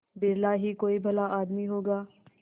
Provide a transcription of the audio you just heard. बिरला ही कोई भला आदमी होगा